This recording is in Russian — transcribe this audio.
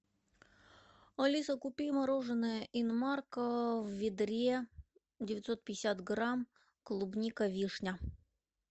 алиса купи мороженное инмарко в ведре девятьсот пятьдесят грамм клубника вишня